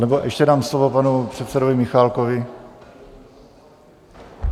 Anebo ještě dám slovo panu předsedovi Michálkovi.